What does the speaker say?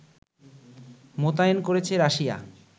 মোতায়েন করেছে রাশিয়া